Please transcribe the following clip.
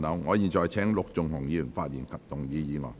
我現在請陸頌雄議員發言及動議議案。